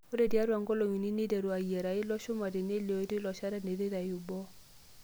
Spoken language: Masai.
Ore tiaatwa nkolong'I unii neiteru ayiara ilo chumati nelioyu teiloshata teneitayui boo.